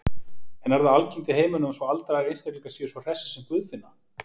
En er það algengt í heiminum að svo aldraðir einstaklingar séu svo hressir sem Guðfinna?